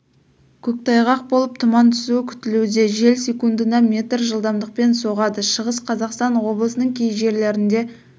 көктайғақ болып тұман түсуі күтілуде жел секундына метр жылдамдықпен соғады шығыс қазақстан облысының кей жерлерінде